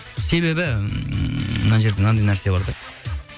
себебі ммм мына жерде мынандай нәрсе бар да